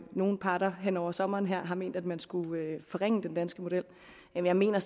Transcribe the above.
nogen parter hen over sommeren har ment at man skulle forringe den danske model jeg mener